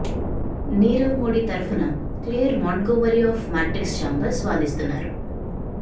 నీరవ్ మోడీ తరఫున Clare Montgomery of Matrix Chambers వాదిస్తున్నారు